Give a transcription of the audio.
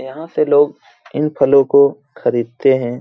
यहाँ से लोग इन फलों को खरीदते है।